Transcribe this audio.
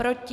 Proti?